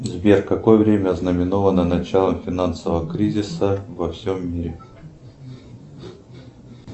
сбер какое время ознаменовано началом финансового кризиса во всем мире